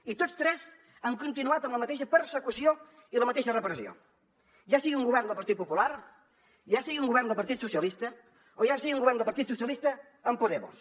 i tots tres han continuat amb la mateixa persecució i la mateixa repressió ja sigui un govern del partit popular ja sigui un govern del partit socialista o ja sigui un govern del partit socialista amb podemos